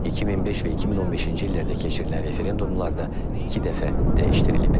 2005 və 2015-ci illərdə keçirilən referendumalarda iki dəfə dəyişdirilib.